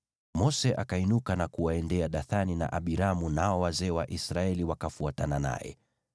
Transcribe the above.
Mose akainuka na kuwaendea Dathani na Abiramu, nao wazee wa Israeli wakafuatana naye.